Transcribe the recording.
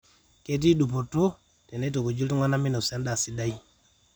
ketii dupoto teneitukuji iltunganak meinosa endaa sidai